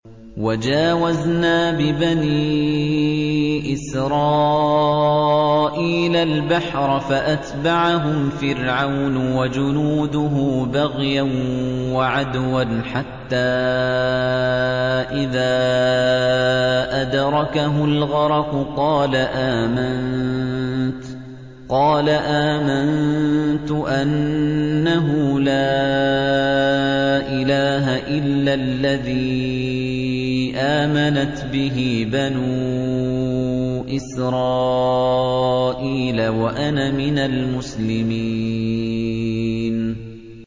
۞ وَجَاوَزْنَا بِبَنِي إِسْرَائِيلَ الْبَحْرَ فَأَتْبَعَهُمْ فِرْعَوْنُ وَجُنُودُهُ بَغْيًا وَعَدْوًا ۖ حَتَّىٰ إِذَا أَدْرَكَهُ الْغَرَقُ قَالَ آمَنتُ أَنَّهُ لَا إِلَٰهَ إِلَّا الَّذِي آمَنَتْ بِهِ بَنُو إِسْرَائِيلَ وَأَنَا مِنَ الْمُسْلِمِينَ